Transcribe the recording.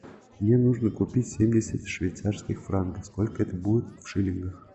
мне нужно купить семьдесят швейцарских франков сколько это будет в шиллингах